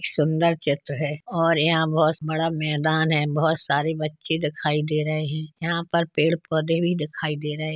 सुंदर चित्र है और यहाँ बहुत बड़ा मैदान है। बहुत सारे बच्चे दिखाई दे रहे हैं। यहाँ पर पेड़ पौधे भी दिखाई दे रहे हैं।